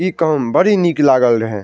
इ काम बड़ी निक लागे रहे।